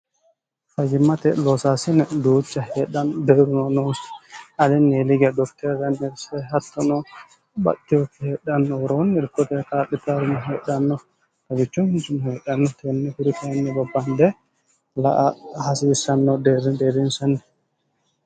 fayimmate loosaasini duuca hedhan beeruno noosi alinni liga doftee ranerse hattonoo batiyookki hedhannooroon irkote kaaphitaarmo heedhannof nagichu hisumo heedhanno tenne firikainni bobbaande laa hasiissanno deerideeriinsanni